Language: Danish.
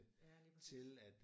Ja lige præcis